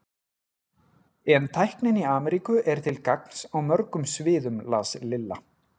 En tæknin í Ameríku er til gagns á mörgum sviðum las Lilla.